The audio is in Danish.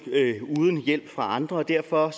uden hjælp fra andre og derfor